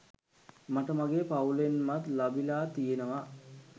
මට මගේ පවුලෙන්මත් ලබිලා තියෙනවා.